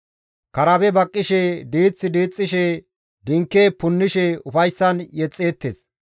Karabe baqqishe, diiththi diixxishe, dinke punnishe ufayssan yexxeettes.